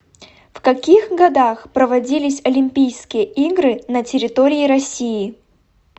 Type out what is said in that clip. в каких годах проводились олимпийские игры на территории россии